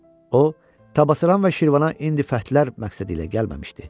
O, Təbəssəran və Şirvana indi fətlər məqsədi ilə gəlməmişdi.